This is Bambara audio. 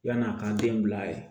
Yann'a k'an denw bila yen